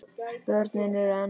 Börnin eru enn ung.